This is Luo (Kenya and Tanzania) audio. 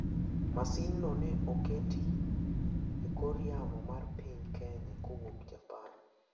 Masinno ne oketi e kor yamo mar piny Kenya kowuok Japan.